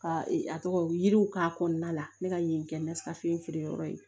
Ka a tɔgɔ yiriw k'a kɔnɔna la ne ka yen kɛ nasa feereyɔrɔ ye